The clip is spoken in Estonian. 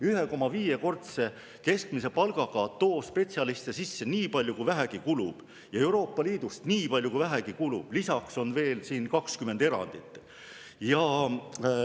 1,5‑kordse keskmise palgaga too spetsialiste sisse nii palju, kui vähegi kulub, ja Euroopa Liidust nii palju, kui vähegi kulub, lisaks on veel 20 erandit.